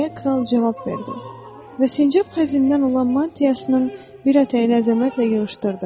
Deyə kral cavab verdi və sincap xəzindən olan mantiyasının bir ətəyini əzəmətlə yığışdırdı.